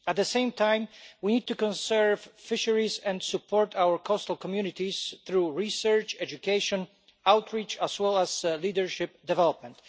At the same time, we need to conserve fisheries and support our coastal communities through research, education, outreach, as well as leadership development.